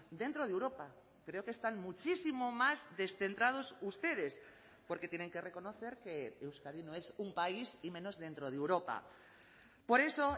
dentro de europa creo que están muchísimo más descentrados ustedes porque tienen que reconocer que euskadi no es un país y menos dentro de europa por eso